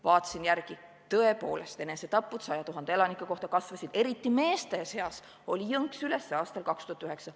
Vaatasin järele, tõepoolest, enesetappude arv 100 000 elaniku kohta kasvas, eriti meeste seas oli jõnks üles aastal 2009.